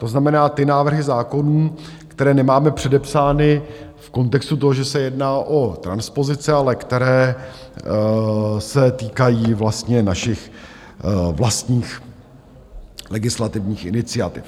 To znamená, ty návrhy zákonů, které nemáme předepsány v kontextu toho, že se jedná o transpozice, ale které se týkají vlastně našich vlastních legislativních iniciativ.